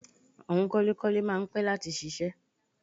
Àwọn kọ́lékọ́lé máa ń pẹ́ láti ṣiṣẹ́